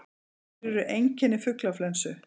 Hver eru einkenni fuglaflensu?